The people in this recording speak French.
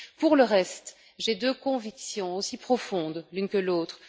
Pour le reste, j'ai deux convictions aussi profondes l'une que l'autre.